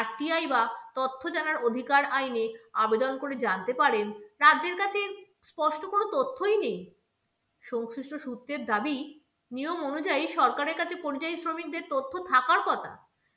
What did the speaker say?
RTI বা তথ্য জানার অধিকার আইনে আবেদন করে জানতে পারেন, রাজ্যের কাছে স্পষ্ট কোনো তথ্যই নেই। সংশ্লিষ্ট সূত্রের দাবি, নিয়ম অনুযায়ী সরকারের কাছে পরিযায়ী শ্রমিকদের তথ্য থাকার কথা।